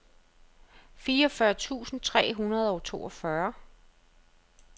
fireogfyrre tusind tre hundrede og toogfyrre